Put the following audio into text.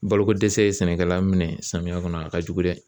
Balokodɛsɛ ye sɛnɛkɛla minɛn samiya kɔnɔ a ka jugu dɛ.